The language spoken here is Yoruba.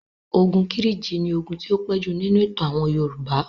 Ogun Kírìjí ni ogun tí ó pẹ́ jù nínú ìtàn àwọn Yorùbá.